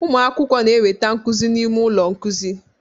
Ụmụ akwụkwọ na-enweta nkuzi n'ime ụlọ nkuzi